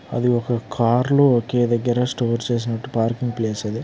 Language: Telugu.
ఈ యొక్క కారు లో ఒకే దగ్గర స్టోర్ చేసినటు పార్కింగ్ ప్లేస్ అది.